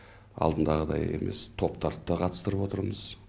алдындағыдай емес топтарды да қатыстырып отырмыз